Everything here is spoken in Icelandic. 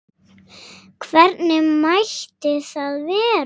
Hvernig mætti það vera?